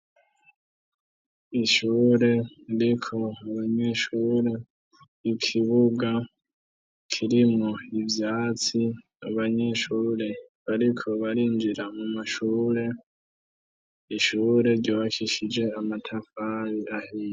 Ishure ririko abanyeshure ikibuga kirimwo ivyatsi abanyeshure bariko barinjira mu mashure ishure ryubakishije amatafari ahiye.